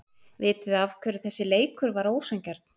Vitiði af hverju þessi leikur var ósanngjarn?